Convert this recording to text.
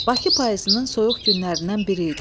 Bakı payızının soyuq günlərindən biri idi.